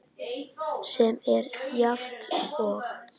sem er jafnt og